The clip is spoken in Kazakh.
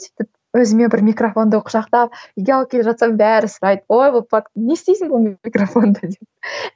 сөйтіп өзіме бір микрофонды құшақтап үйге алып келе жатсам бәрі сұрайды ой бұл не істейсің бұл микрофонды деп